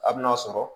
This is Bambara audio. A' bi n'a sɔrɔ